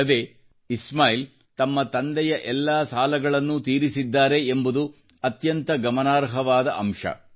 ಅಲ್ಲದೆ ಇಸ್ಮಾಯಿಲ್ ತಮ್ಮ ತಂದೆಯ ಎಲ್ಲಾ ಸಾಲಗಳನ್ನೂ ತೀರಿಸಿದ್ದಾರೆ ಎಂಬುದು ಅತ್ಯಂತ ಗಮನಾರ್ಹವಾದ ಅಂಶ